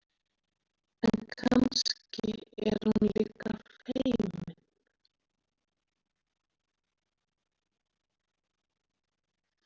En kannski er hún líka feimin.